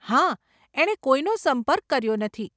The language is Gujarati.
હા, એણે કોઈનો સંપર્ક કર્યો નથી.